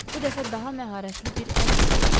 bu dəfə daha məharətli bir əl hiss olunur.